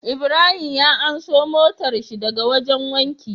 Ibrahim ya anso motar shi daka wajan wanki